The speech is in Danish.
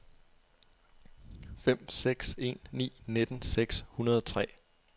fem seks en ni nitten seks hundrede og tre